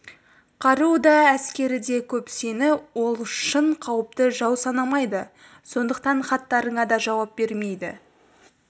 қаруы да әскері де көп сені ол шын қауіпті жау санамайды сондықтан хаттарыңа да жауап бермейді